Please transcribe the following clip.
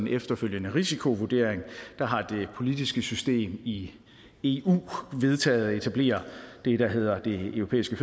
efterfølgende risikovurdering har det politiske system i eu vedtaget at etablere det der hedder den europæiske